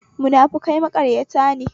Munafukai maƙaryata ne